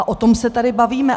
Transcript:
A o tom se tady bavíme.